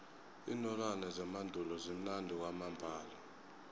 iinolwana zemandulo zimnandi kwamambala